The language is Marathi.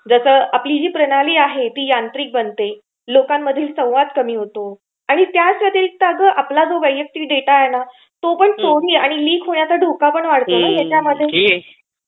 आपली जी प्रणाली आहे ती यांत्रिक बनते. लोकांमधील संवाद कमी होतो आणि त्याच व्यतिरिक्त आपला जो वैयक्तिक डाटा आहे ना तो चोरी आणि लिक होण्याचा धोका वाढतो.